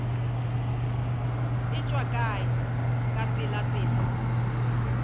e tšwa kae ka pelapela